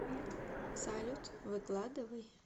салют выкладывай